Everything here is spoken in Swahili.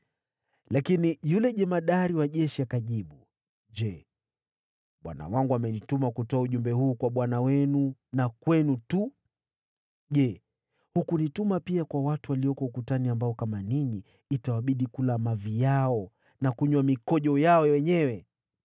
Lakini yule jemadari wa jeshi akajibu, “Je, bwana wangu amenituma kutoa ujumbe huu kwa bwana wenu na kwenu tu? Je, hakunituma pia kwa watu walioketi ukutani, ambao, kama ninyi, itawabidi kula mavi yao na kunywa mikojo yao wenyewe?”